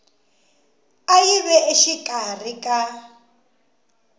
a yi ve exikarhi ka